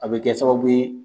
A bɛ kɛ sababu ye